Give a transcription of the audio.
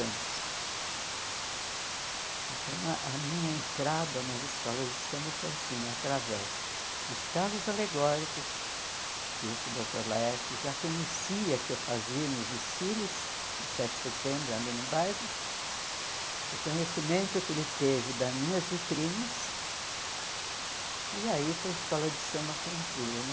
anos. Então, a minha entrada nas escolas de samba foi assim, através dos carros alegóricos, que esse doutor Laerte já conhecia, que eu fazia nos desfiles de sete de setembro ali no bairro, o conhecimento que ele teve das minhas vitrines, e aí para a escola de samba foi um pulo, né?